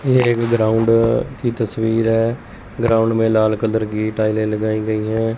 ये एक ग्राउंड की तस्वीर है ग्राउंड में लाल कलर की टाइलें लगाई गई हैं।